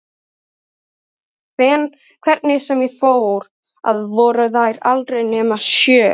Hvernig sem ég fór að voru þær aldrei nema sjö.